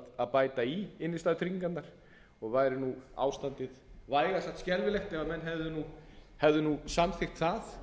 að bæta í innstæðutryggingarnar og væri ástandið vægast sagt skelfilegt ef menn hefðu samþykkt það